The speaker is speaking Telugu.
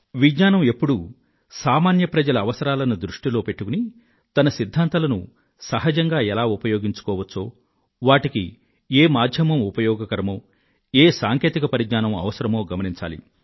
విజ్ఞానం ఎప్పుడూ సామాన్య ప్రజల అవసరాలను దృష్టిలో పెట్టుకుని తన సిధ్ధాంతాలను సహజంగా ఎలా ఉపయోగించుకోవచ్చో వాటికి ఏ మాధ్యమం ఉపయోగకరమో ఏ సాంకేతిక పరిజ్ఞానం అవసరమో గమనించాలి